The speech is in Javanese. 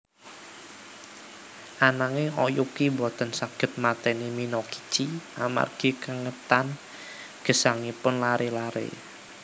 Ananging Oyuki boten saged mateni Minokichi amargi kengetan gesangipun laré laré